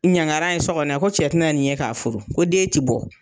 Ɲangara ye so kɔnɔ yan ko cɛ tɛna nin ye k'a furu ko den tɛ bɔ.